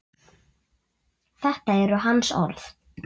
Þetta eru hans orð.